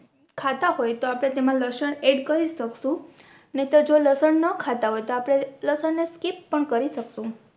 ખાતા હોય તો આપણે તેમા લસણ Add કરી શકશું નઇ તો જો લસણ ના ખાતા હોય તો આપણે લસણ ને skip પણ કરી શકશું